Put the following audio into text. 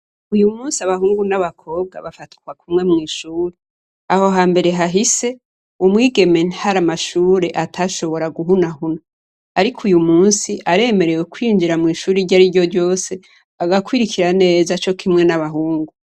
Uyu musi abahungu n'abakobwa bafatwa kumwe mw'ishuri. Aho hambere hahise, umwigeme hari amashuri atashobora guhunahuna. Ariko uyu musi aremerewe kwinjira mw'ishuri iryariryo ryose, agakwirikira neza co kimwe n'abahungu.